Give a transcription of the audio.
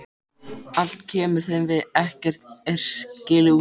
Allt kemur þeim við, ekkert er skilið útundan.